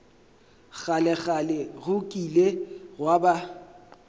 kgalekgale go kile gwa ba